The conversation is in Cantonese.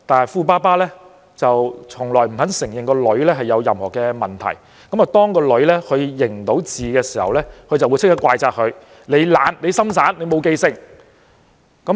富爸爸從來不肯承認女兒有任何問題，當女兒無法認字時，富爸爸便會立即怪責女兒懶惰、不專心、沒有用心記住。